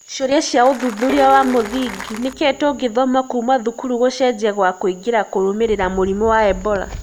ciũria cia ũthuthuria wa mũthingi: Nĩkĩĩ tũngĩthoma kuuma thukuru gũcenjia gwa kũingĩra kũrũmĩrĩra mũrimũ wa Ebola?